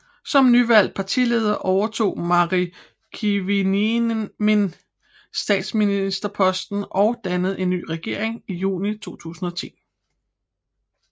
Som nyvalgt partileder overtog Mari Kiviniemi statsministerposten og dannede en ny regering i juni 2010